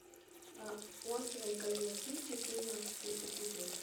острые козырьки четырнадцатый эпизод